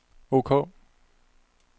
ok